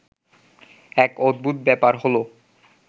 এক অদ্ভুত ব্যাপার হলো